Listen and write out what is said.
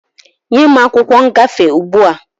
Nye m akwụkwọ ngafe ugbua!